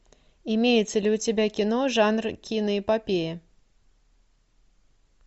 имеется ли у тебя кино жанр киноэпопея